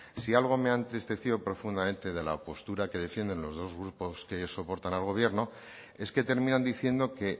si algo me ha entristecido profundamente de la postura que defienden los dos grupos que soportan al gobierno es que terminan diciendo que